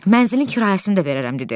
Mənzilin kirayəsini də verərəm dedi.